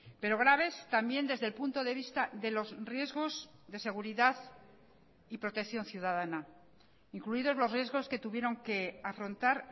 pero graves también desde el punto de vista de los riesgos de seguridad y protección ciudadana incluidos los riesgos que tuvieron que afrontar